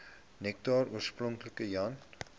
nektar oorspronklik jan